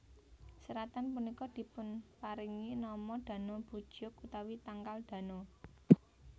Seratan punika dipunparingi nama Dano bujeok utawi tangkal Dano